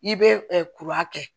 I bɛ kuran kɛ